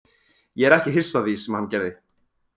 Ég er ekki hissa á því sem hann gerði.